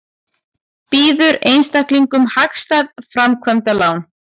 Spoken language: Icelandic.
Býður einstaklingum hagstæð framkvæmdalán